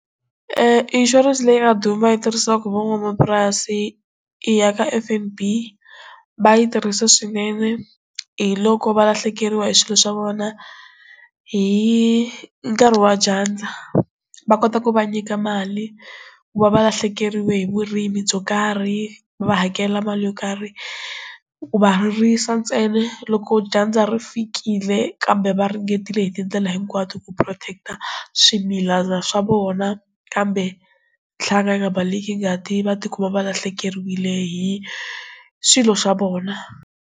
inshurense leyi nga duma yi tirhisiwaka van'wamapurasi i ya ka F_N_B va yi tirhisa swinene hi loko valahlekeriwa hi swilo swa vona hi nkarhi wa dyandza va kota ku va nyika mali ku va va lahlekeriwe hi vurimi byo karhi va hakela mali yo karhi ku va ririsa ntsena loko dyandza ri fikile kambe va ringetile hi tindlela hinkwato ku protect-a swimila swa vona kambe ntlhantlha yi nga balekeni nga ti va tikuma valahlekeriwile hi swilo swa vona.